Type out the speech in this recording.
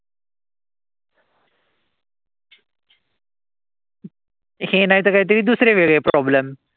हे नाई त काई तरी दुसरे वेगळे problem.